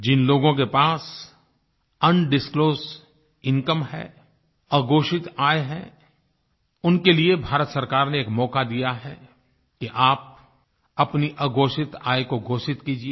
जिन लोगों के पास अनडिस्क्लोज्ड इनकम है अघोषित आय है उनके लिए भारत सरकार ने एक मौका दिया है कि आप अपनी अघोषित आय को घोषित कीजिये